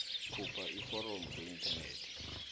khupha iforomo kuinthanethi